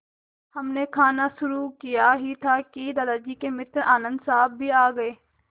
हमने खाना शुरू किया ही था कि दादाजी के मित्र आनन्द साहब भी आ गए